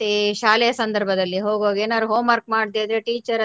ಮತ್ತೆ ಶಾಲೆಯ ಸಂದರ್ಭದಲ್ಲಿ ಹೋಗುವಾಗ ಏನಾರೂ homework ಮಾಡದೆ ಇದ್ರೆ teacher